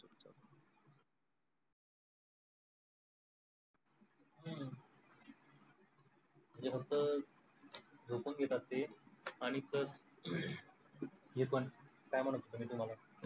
हम्म ते फक्त झोपून घेतात ते आणि तर हे पण काय म्हणत होतो तुम्हाला